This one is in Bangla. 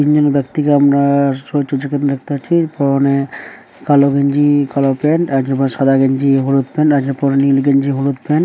তিনজন ব্যাক্তিকে আমরা-আ আশ্চারয্য যখন দেখতে পাচ্ছিপরনে কালো গেঞ্জি-ই কালো প্যান্ট একজন পড়ে সাদা গেঞ্জি হলুদ প্যান্ট আরেকজন পড়ে নীল গেঞ্জি হলুদ প্যান্ট। --